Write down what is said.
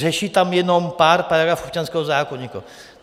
Řeší tam jenom pár paragrafů občanského zákoníku.